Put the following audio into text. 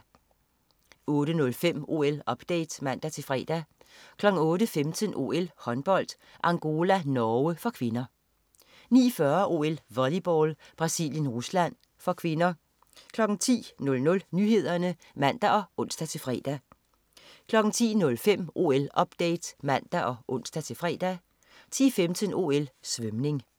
08.05 OL-update (man-fre) 08.15 OL: Håndbold. Angola-Norge (k) 09.40 OL: Volleyball. Brasilien-Rusland (k) 10.00 Nyhederne (man og ons-fre) 10.05 OL-update (man og ons-fre) 10.15 OL: Svømning